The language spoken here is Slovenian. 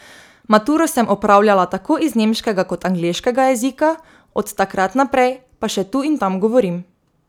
Maturo sem opravljala tako iz nemškega kot angleškega jezika, od takrat naprej pa še tu in tam govorim.